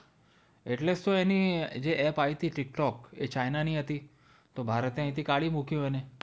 એટલેજ તો એની app આવી હતી tiktok એ china ની હતી એટલેજ તો ભારતે અહીંથી કાઢી મૂકી એને